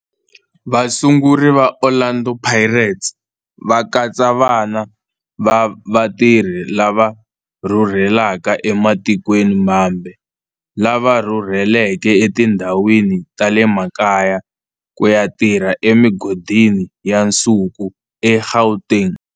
Vasunguri va Orlando Pirates va katsa vana va vatirhi lava rhurhelaka ematikweni mambe lava rhurheleke etindhawini ta le makaya ku ya tirha emigodini ya nsuku eGauteng.